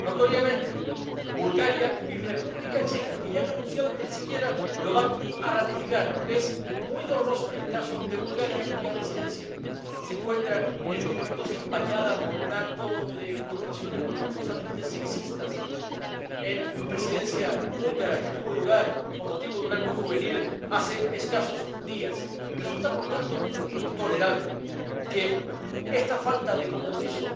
Notoriamente Bulgaria y la República Checa, que ya han anunciado que ni siquiera lo van a ratificar, lo que es muy doloroso en el caso de Bulgaria, cuya Presidencia se encuentra en estos momentos empañada por un acto de connotaciones bochornosamente sexistas en la Presidencia búlgara que tuvo lugar con motivo de un acto juvenil hace escasos días. Resulta, por tanto, intolerable que esta falta de compromiso